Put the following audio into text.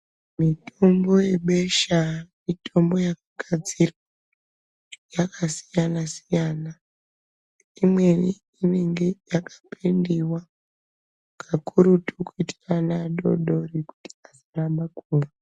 Mitombo yebesha mutombo wakagadzirwa yakasiyana siyana imweni inenge yakapendiwa Kakurutu kuutabana adodori asaramba kumwa.